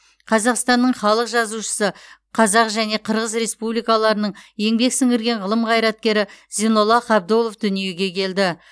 қазақстанның халық жазушысы қазақ және қырғыз республикаларының еңбек сіңірген ғылым қайраткері зейнолла қабдолов дүниеге келді